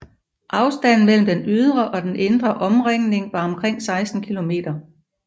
Afstanden mellem den ydre og den indre omringning var omkring 16 km